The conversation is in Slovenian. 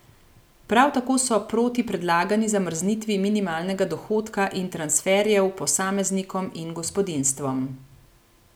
Prav tako so proti predlagani zamrznitvi minimalnega dohodka in transferjev posameznikom in gospodinjstvom.